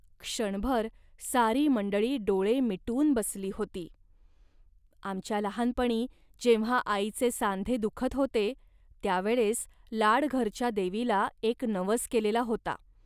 क्षणभर सारी मंडळी डोळे मिटून बसली होती. आमच्या लहानपणी जेव्हा आईचे सांधे दुखत होते, त्या वेळेस लाडघरच्या देवीला एक नवस केलेला होता